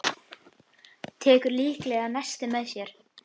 Tekur líklega nesti með sér.